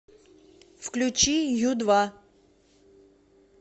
включи ю два